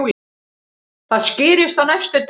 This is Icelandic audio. Það skýrist á næstu dögum.